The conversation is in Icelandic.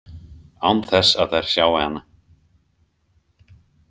Án þess að þær sjái hana.